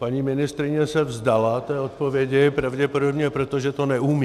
Paní ministryně se vzdala té odpovědi, pravděpodobně proto, že to neumí.